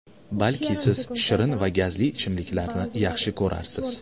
Balki siz shirin va gazli ichimliklarni yaxshi ko‘rarsiz.